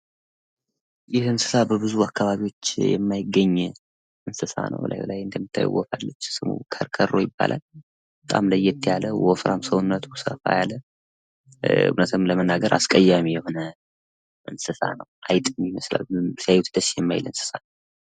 ይህ እንስሳ በብዙ አከባቢዎች የማይገኝ እንስሳ ነው። በጣም ወፍራም የሆነ ሲያዩት ደስ የማይል አስቀያሚ የሆነ እንስሳ ነው።